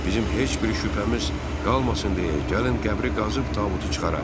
Bizim heç bir şübhəmiz qalmasın deyə, gəlin qəbri qazıb tabutu çıxaraq.